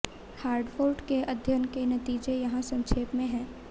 Hartford के अध्ययन के नतीजे यहां संक्षेप में हैं